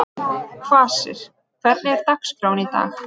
Kvasir, hvernig er dagskráin í dag?